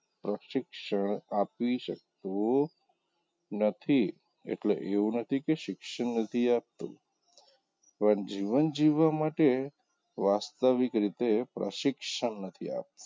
પ્રશિક્ષણ આપી શકતું નથી એટલે એવું નથી કે શિક્ષણ નથી આપતું પણ જીવન જીવવા માટે વાસ્તવિક રીતે પ્રશિક્ષણ નથી આપતું.